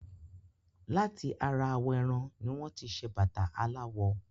Láti ara awọ̀ ẹran ní wọ́n tí ṣé bàtà aláwọ̀